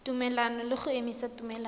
tumelelano le go emisa tumelelano